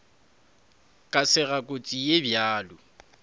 ka sega kotsi ye bjalo